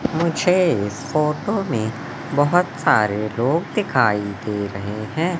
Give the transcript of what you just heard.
मुझे फोटो में बहुत सारे लोग दिखाई दे रहे हैं।